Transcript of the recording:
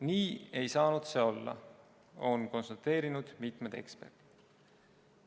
Nii ei saanud see olla, on konstateerinud mitmed eksperdid.